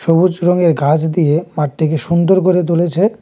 থবুজ রঙের ঘাস দিয়ে মাঠটিকে সুন্দর করে তুলেছে।